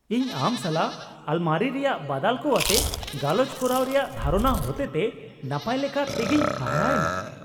ᱤᱧ ᱟᱢ ᱥᱟᱞᱟᱜ ᱟᱞᱢᱟᱨᱤ ᱨᱮᱭᱟᱜ ᱵᱟᱫᱟᱞ ᱠᱚ ᱟᱛᱮ ᱜᱟᱞᱚᱪ ᱠᱚᱨᱟᱣ ᱨᱮᱭᱟᱜ ᱫᱷᱟᱨᱚᱱᱟ ᱦᱚᱛᱮᱛᱮ ᱱᱟᱯᱟᱭ ᱞᱮᱠᱟ ᱛᱮᱜᱮᱧ ᱦᱟᱦᱟᱲᱟ ᱮᱱᱟ ᱾